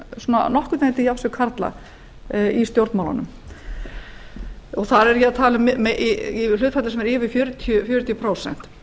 svona nokkurn veginn til jafns við karla í stjórnmálunum þar er ég að tala um í hlutfalli sem er yfir fjörutíu prósent